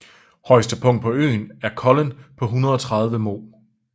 Højeste punkt på øen er Kollen på 130 moh